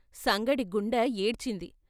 సంగడి గుండె ఏడ్చింది.